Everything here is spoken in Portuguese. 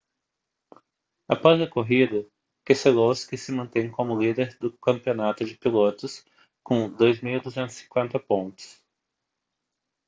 após a corrida keselowski se mantém como o líder do campeonato de pilotos com 2.250 pontos